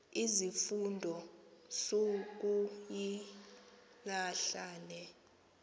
izifundo sukuyilahla le